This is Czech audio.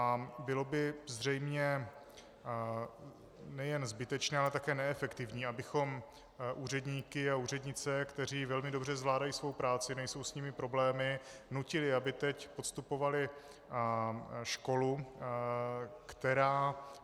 A bylo by zřejmě nejen zbytečné, ale také neefektivní, abychom úředníky a úřednice, kteří velmi dobře zvládají svou práci, nejsou s nimi problémy, nutili, aby teď podstupovali školu, která...